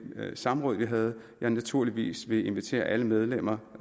samråd vi havde at jeg naturligvis vil invitere alle medlemmer